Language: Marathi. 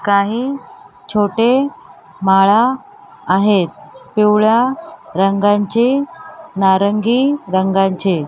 काही छोटे माळा आहेत पिवळ्या रंगांचे नारंगी रंगांचे--